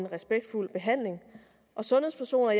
respektfuld behandling og sundhedspersoner